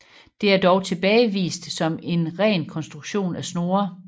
Det er dog tilbagevist som en ren konstruktion af Snorre